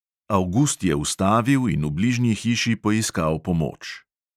Avgust je ustavil in v bližnji hiši poiskal pomoč.